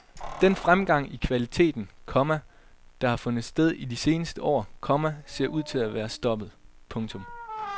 Den fremgang i kvaliteten, komma der har fundet sted i de seneste år, komma ser ud til at være stoppet. punktum